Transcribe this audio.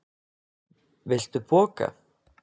Viltu poka?